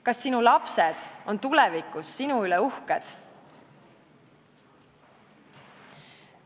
Kas sinu lapsed on tulevikus sinu üle uhked?